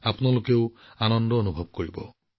আৰু সেই লৰাছোৱালীবোৰৰ লগত কিছু মুহূৰ্ত কটাওক